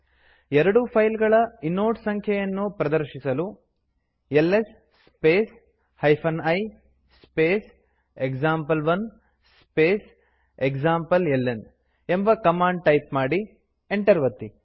ಎರಡೂ ಫೈಲ್ ಗಳ ಇನೋಡ್ ಸಂಖ್ಯೆಯನ್ನು ಪ್ರದರ್ಶಿಸಲು ls space i space example one space ಎಕ್ಸಾಂಪ್ಲೆಲ್ನ ಎಂಬ ಕಮಾಂಡ್ ಟೈಪ್ ಮಾಡಿ ಎಂಟರ್ ಒತ್ತಿ